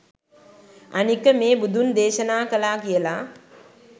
අනික මේ බුදුන් දේශනා කළා කියල